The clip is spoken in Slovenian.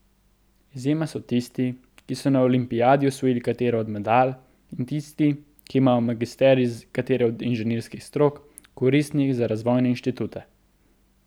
Izjema so tisti, ki so na olimpijadi osvojili katero od medalj, in tisti, ki imajo magisterij iz katere od inženirskih strok, koristnih za razvojne inštitute.